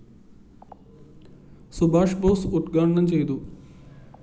സുബാഷ് ബോസ്‌ ഉദ്ഘാടനം ചെയ്യും